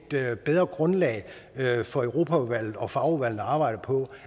bedre grundlag for europaudvalget og fagudvalgene at arbejde på